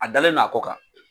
A dalen no a kɔ kan.